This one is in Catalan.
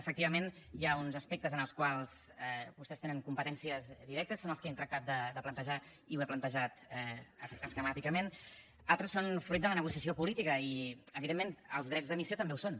efectivament hi ha uns aspectes en els quals vostès tenen competències directes són els que he tractat de plantejar i ho he plantejat esquemàticament d’altres són fruit de la negociació política i evidentment els drets d’emissió també ho són